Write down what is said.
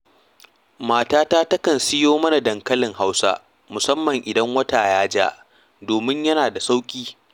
Matata takan soya mana dankalin Hausa, musamman idan wata ya ja, domin yana da sauƙi